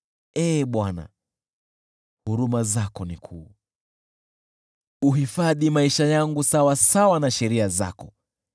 Ee Bwana , huruma zako ni kuu, uyahifadhi maisha yangu sawasawa na sheria zako.